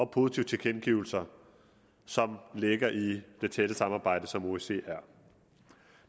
positive tilkendegivelser som ligger i det tætte samarbejde som osce er